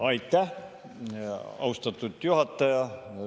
Aitäh, austatud juhataja!